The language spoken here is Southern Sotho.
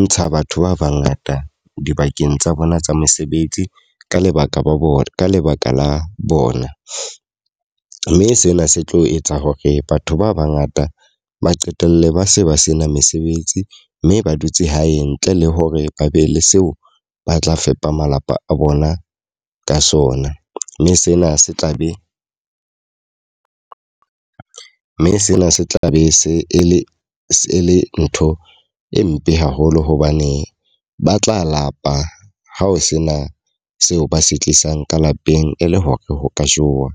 ntsha batho ba ba ngata dibakeng tsa bona tsa mesebetsi ka lebaka ba bona ka lebaka la bona. Mme sena se tlo etsa hore batho ba ba ngata ba qetelle ba se ba sena mesebetsi mme ba dutse hae ntle le hore ba be le seo ba tla fepa malapa a bona ka sona. Mme sena se tla be, mme sena se tla be se e le e le ntho e mpe haholo hobane ba tla lapa ha o sena seo ba se tlisang ka lapeng e le hore ho ka jowa.